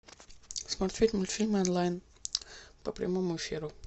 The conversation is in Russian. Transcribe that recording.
смотреть мультфильмы онлайн по прямому эфиру